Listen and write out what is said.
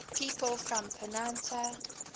people from patna